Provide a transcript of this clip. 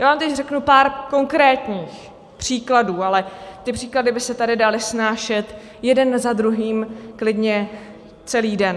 Já vám teď řeknu pár konkrétních příkladů, ale ty příklady by se tady daly snášet jeden za druhým klidně celý den.